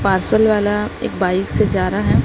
Parcel वाला एक bike से जा रहा है।